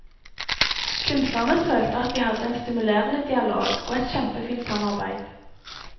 Kunstnerne følte at de hadde en stimulerende dialog, og et kjempefint samarbeid.